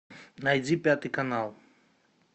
найди пятый канал